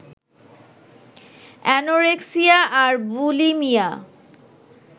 anorexia আর bulimia